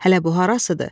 Hələ bu harasıdır.